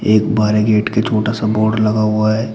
एक बाड़े गेट के छोटा सा बोर्ड लगा हुआ है।